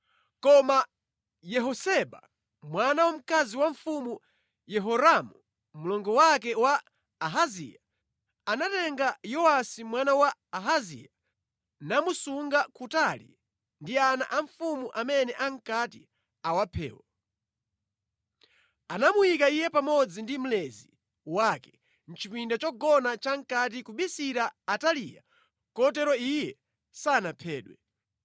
Koma Yehoseba, mwana wamkazi wa Mfumu Yehoramu, mlongo wake wa Ahaziya, anatenga Yowasi mwana wa Ahaziya, namusunga kutali ndi ana a mfumu amene ankati awaphewo. Anamuyika iye pamodzi ndi mlezi wake mʼchipinda chogona chamʼkati kubisira Ataliya kotero iye sanaphedwe.